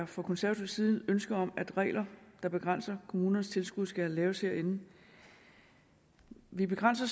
fra konservativ side ikke ønske om at regler der begrænser kommunernes tilskud skal laves herinde vi begrænser